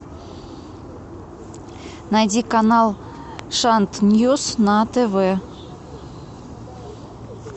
найди канал шант ньюс на тв